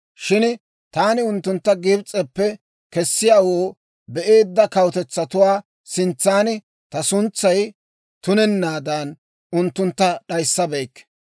Shin taani unttuntta Gibs'eppe kesiyaawoo be'eedda kawutetsatuwaa sintsan ta suntsay tunennaadan, unttuntta d'ayissabeykke.